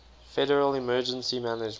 federal emergency management